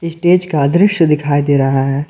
Stage का दृश्य दिखाई दे रहा है।